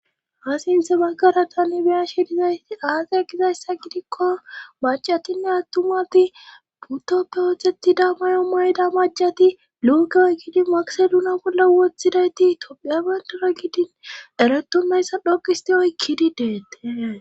Ha sinthe baggara tanibeya shi dizayti aage gizayssa gidikko macatinne attumati putoppe wotetida mayo mayda macati luugeoy giidi magseluna bolle woththidayti tophiyabandara gidin eretumeyssa dhoqisti oykkidi deet